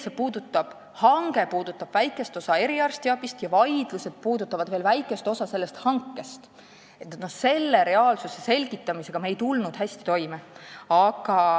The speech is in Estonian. See hange puudutab väikest osa eriarstiabist ja vaidlused puudutavad väikest osa sellest hankest – me ei tulnud selle reaalsuse selgitamisega hästi toime.